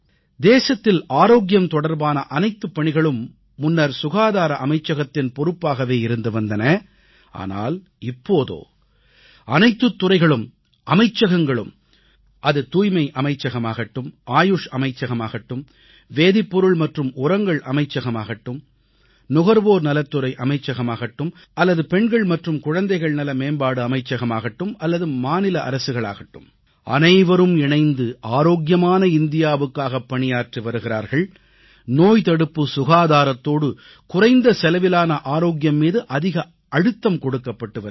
தேசத்தில் ஆரோக்கியம் தொடர்பான அனைத்துப் பணிகளும் முன்னர் சுகாதார அமைச்சகத்தின் பொறுப்பாகவே இருந்து வந்தன ஆனால் இப்போதோ அனைத்துத் துறைகளும் அமைச்சகங்களும் அது தூய்மை அமைச்சகமாகட்டும் ஆயுஷ் அமைச்சகமாகட்டும் வேதிப் பொருள் மற்றும் உரங்கள் அமைச்சகமாகட்டும் நுகர்வோர் நலத்துறை அமைச்சகமாகட்டும் அல்லது பெண்கள் மற்றும் குழந்தைகள்நல மேம்பாடு அமைச்சகமாகட்டும் அல்லது மாநில அரசுகளாகட்டும் அனைவரும் இணைந்து ஆரோக்கியமான இந்தியாவுக்காகப் பணியாற்றி வருகிறார்கள் நோய்தடுப்பு சுகாதாரத்தோடு குறைந்த செலவிலான ஆரோக்கியம் மீது அதிக அழுத்தம் கொடுக்கப்பட்டு வருகிறாது